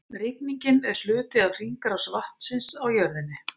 Rigningin er hluti af hringrás vatnsins á jörðinni.